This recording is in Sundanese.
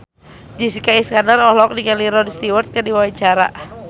Jessica Iskandar olohok ningali Rod Stewart keur diwawancara